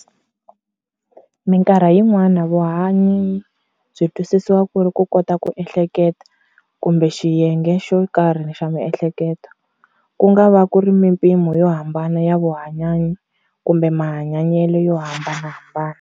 Minkarhi yi n'wana vuhanyi byi twisisiwa kuri"ku kota ku ehleketa" kumbe yiyenge xo karhi xa mihleketo. Kunga va kuri na mimpimo yo hambana ya vuhanyanyi, kumbe mahanyanyele yo hambanahambana.